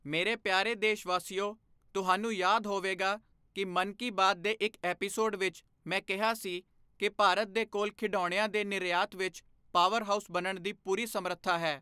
ਮੇਰੇ ਪਿਆਰੇ ਦੇਸ਼ਵਾਸੀਓ, ਤੁਹਾਨੂੰ ਯਾਦ ਹੋਵੇਗਾ ਕਿ ਮਨ ਕੀ ਬਾਤ ਦੇ ਇੱਕ ਐਪੀਸੋਡ ਵਿੱਚ ਮੈਂ ਕਿਹਾ ਸੀ ਕਿ ਭਾਰਤ ਦੇ ਕੋਲ ਖਿਡੌਣਿਆਂ ਦੇ ਨਿਰਯਾਤ ਵਿੱਚ ਪਾਵਰ ਹਾਊਸ ਬਣਨ ਦੀ ਪੂਰੀ ਸਮਰੱਥਾ ਹੈ।